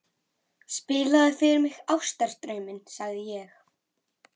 Spilaðu fyrr mig Ástardrauminn, sagði ég.